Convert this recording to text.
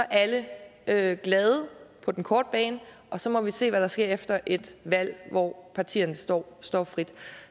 alle glade på den korte bane og så må vi se hvad der sker efter et valg hvor partierne står står frit